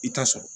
I t'a sɔrɔ